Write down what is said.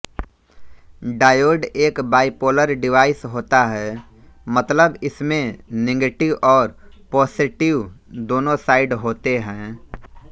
diode एक bipolar device होता है मतलब इसमें निगेटिव और पोसेटिव दोने साइड होते है